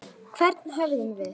Hvern höfðum við?